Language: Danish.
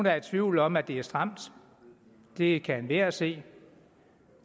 er i tvivl om at det er stramt det kan enhver se